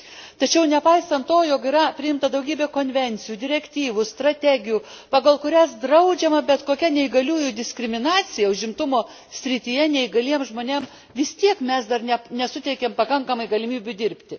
Tačiau, nepaisant to, jog yra priimta daugybė konvencijų, direktyvų, strategijų, pagal kurias draudžiama bet kokia neįgaliųjų diskriminacija, užimtumo srityje, neįgaliems žmonėms vis tiek mes dar nesuteikiame pakankamai galimybių dirbti.